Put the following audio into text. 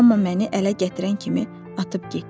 Amma məni ələ gətirən kimi atıb getdi.